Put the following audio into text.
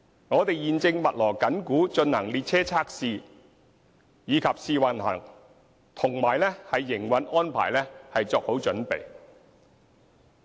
我們現正密鑼緊鼓地進行列車測試和試運行，以及為營運安排作好準備。